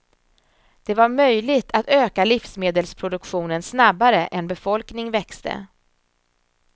Det var möjligt att öka livsmedelsproduktionen snabbare än befolkning växte.